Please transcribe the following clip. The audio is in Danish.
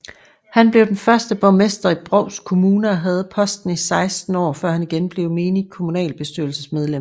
Han blev den første borgmester i Brovst Kommune og havde posten i 16 år før han igen blev menigt kommunalbestyrelsesmedlem